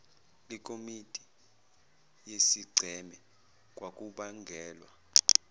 lekomidi yesigceme kwakubangelwa